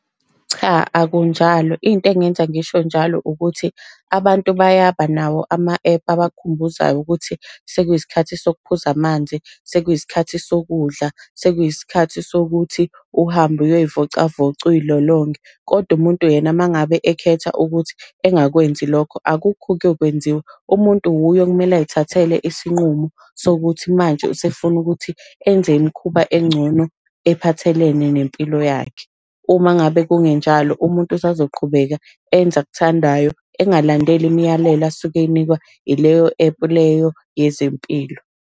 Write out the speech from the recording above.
Cha, akunjalo. Into engenza ngisho njalo ukuthi, abantu bayaba nawo ama-ephu abakhumbuzayo ukuthi sekuyisikhathi sokuphuza amanzi, sekuyisikhathi sokudla, sekuyisikhathi sokuthi uhambe uyoy'vocavoca uy'lolonge. Kodwa umuntu yena uma ngabe ekhetha ukuthi engakwenzi lokho akukho okuyokwenziwa. Umuntu wuye okumele ay'thathele isinqumo sokuthi manje usefuna ukuthi enze imikhuba engcono ephathelene nempilo yakhe. Uma ngabe kungenjalo umuntu usazoqhubeka enze akuthandayo, engalandeli imiyalelo asuke eyinikwa ileyo ephu leyo yezempilo.